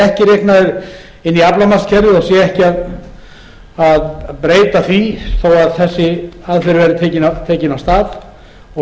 reiknaður inn í aflamarkskerfið og sé ekki hægt að breyta því þó að þessi aðferð verði tekin af stað og